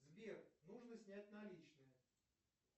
сбер нужно снять наличные